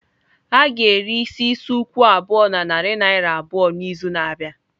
A ga-ere isi isi ukwu abụọ na narị naira abụọ n'izu na-abịa.